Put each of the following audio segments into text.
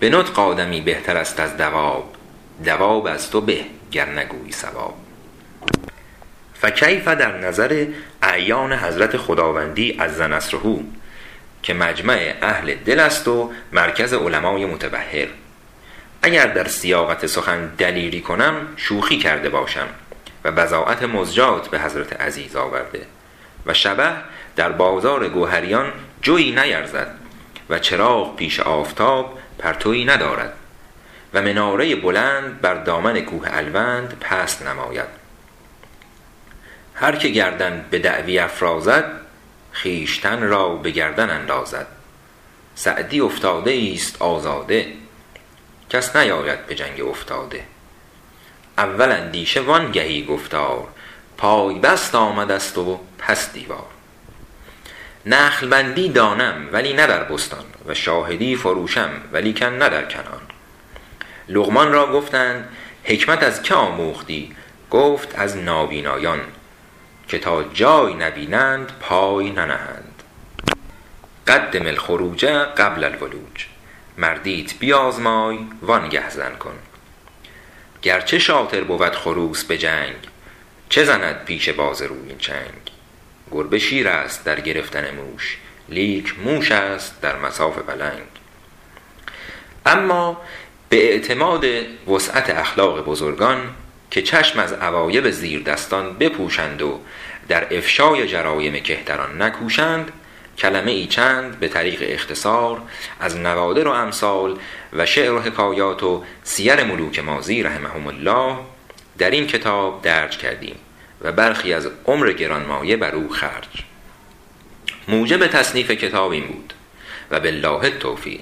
به نطق آدمی بهتر است از دواب دواب از تو به گر نگویی صواب فکیف در نظر اعیان حضرت خداوندی عز نصره که مجمع اهل دل است و مرکز علمای متبحر اگر در سیاقت سخن دلیری کنم شوخی کرده باشم و بضاعت مزجاة به حضرت عزیز آورده و شبه در جوهریان جویٖ نیارد و چراغ پیش آفتاب پرتوی ندارد و مناره بلند بر دامن کوه الوند پست نماید هر که گردن به دعوی افرازد خویشتن را به گردن اندازد سعدی افتاده ای ست آزاده کس نیاید به جنگ افتاده اول اندیشه وآن گهی گفتار پای بست آمده ست و پس دیوار نخل بندی دانم ولی نه در بستان و شاهدی فروشم ولیکن نه در کنعان لقمان را گفتند حکمت از که آموختی گفت از نابینایان که تا جای نبینند پای ننهند قدم الخروج قبل الولوج مردیت بیازمای وآن گه زن کن گر چه شاطر بود خروس به جنگ چه زند پیش باز رویین چنگ گربه شیر است در گرفتن موش لیک موش است در مصاف پلنگ اما به اعتماد سعت اخلاق بزرگان که چشم از عوایب زیردستان بپوشند و در افشای جرایم کهتران نکوشند کلمه ای چند به طریق اختصار از نوادر و امثال و شعر و حکایات و سیر ملوک ماضی رحمهم الله در این کتاب درج کردیم و برخی از عمر گرانمایه بر او خرج موجب تصنیف کتاب این بود و بالله التوفیق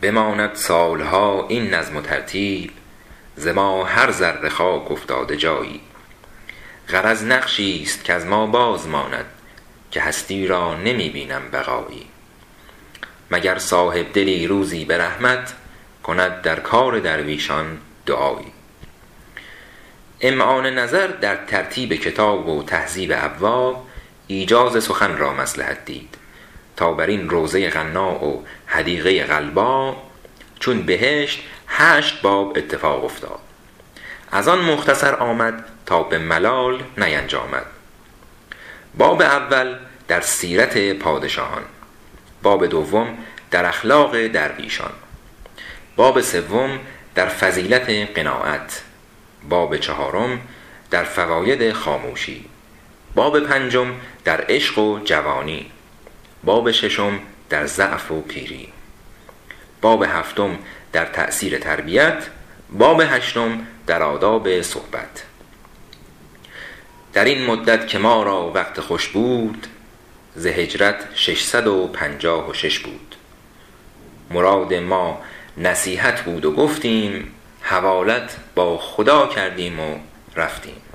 بماند سال ها این نظم و ترتیب ز ما هر ذره خاک افتاده جایی غرض نقشی ست کز ما باز ماند که هستی را نمی بینم بقایی مگر صاحب دلی روزی به رحمت کند در کار درویشان دعایی امعان نظر در ترتیب کتاب و تهذیب ابواب ایجاز سخن مصلحت دید تا بر این روضه غنا و حدیقه غلبا چون بهشت هشت باب اتفاق افتاد از آن مختصر آمد تا به ملال نینجامد باب اول در سیرت پادشاهان باب دوم در اخلاق درویشان باب سوم در فضیلت قناعت باب چهارم در فواید خاموشی باب پنجم در عشق و جوانی باب ششم در ضعف و پیری باب هفتم در تأثیر تربیت باب هشتم در آداب صحبت در این مدت که ما را وقت خوش بود ز هجرت شش صد و پنجاه و شش بود مراد ما نصیحت بود و گفتیم حوالت با خدا کردیم و رفتیم